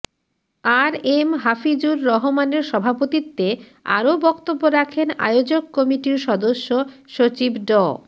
আর M Hafizur রহমানের সভাপতিত্বে আরও বক্তব্য রাখেন আয়োজক কমিটির সদস্য সচিব ড